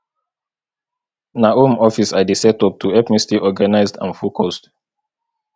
na home office i dey set up to help me stay organized and focused